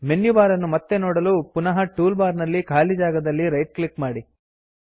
menu bar ಅನ್ನು ಮತ್ತೆ ನೋಡಲು ಪುನಃ ಟೂಲ್ ಬಾರ್ ನ ಖಾಲಿ ಜಾಗದಲ್ಲಿ ರೈಟ್ ಕ್ಲಿಕ್ ಮಾಡಿ